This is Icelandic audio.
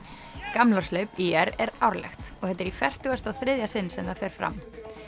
gamlárshlaup ÍR er árlegt og þetta er í fertugasta og þriðja sinn sem það fer fram